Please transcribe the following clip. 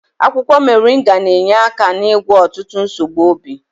Akwụkwọ moringa na-enye aka n'ịgwọ ọtụtụ nsogbu obi.